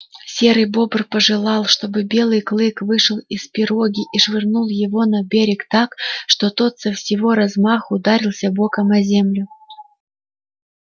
серый бобр пожелал чтобы белый клык вышел из пироги и швырнул его на берег так что тот со всего размаху ударился боком о землю